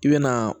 I bɛ na